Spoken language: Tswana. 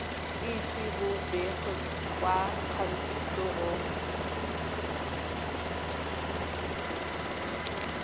ise bo begwe kwa kantorong